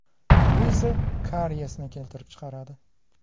Bu esa kariyesni keltirib chiqaradi.